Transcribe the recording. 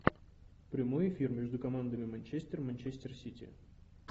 прямой эфир между командами манчестер и манчестер сити